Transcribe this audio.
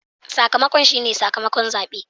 Sakamakon shi ne sakamakon zabe.